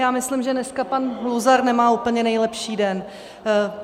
Já myslím, že dneska pan Luzar nemá úplně nejlepší den.